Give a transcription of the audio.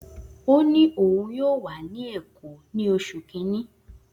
O ni oun yoo wa ni Eko ni osu kini